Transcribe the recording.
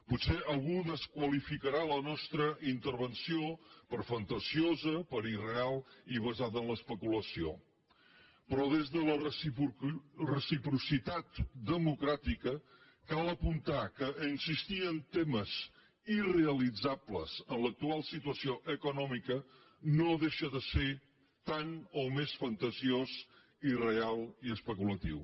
potser algú desqualificarà la nostra intervenció per fantasiosa per irreal i basada en l’especulació però des de la recipro·citat democràtica cal apuntar que insistir en temes ir·realitzables en l’actual situació econòmica no deixa de ser tan o més fantasiós irreal i especulatiu